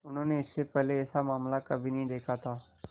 उन्होंने इससे पहले ऐसा मामला कभी नहीं देखा था